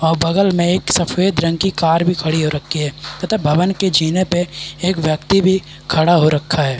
और बगल में एक सफ़ेद रंग की कार भी खड़ी हो रखी है तथा भवन के पे एक व्यक्ति भी खड़ा हो रखा है।